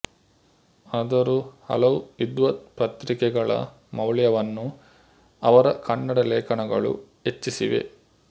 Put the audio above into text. ಅದರೂ ಹಲವು ವಿದ್ವತ್ ಪತ್ರಿಕೆಗಳ ಮೌಲ್ಯವನ್ನು ಅವರ ಕನ್ನಡ ಲೇಖನಗಳು ಹೆಚ್ಚಿಸಿವೆ